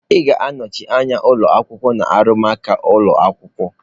Ị ga-anọchi anya ụlọ akwụkwọ na arụmụka ụlọ akwụkwọ.